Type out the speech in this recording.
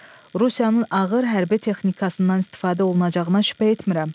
Rusiyanın ağır hərbi texnikasından istifadə olunacağına şübhə etmirəm.